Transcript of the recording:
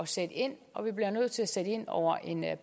sætte ind og vi bliver nødt til at sætte ind over en